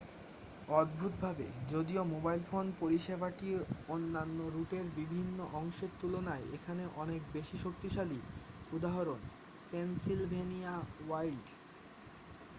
অদ্ভুতভাবে যদিও mobile phone পরিষেবাটি অন্যান্য রুটের বিভিন্ন অংশের তুলনায় এখানে অনেক বেশি শক্তিশালী উদাহরণঃ পেনসিলভেনিয়া ওয়াইল্ড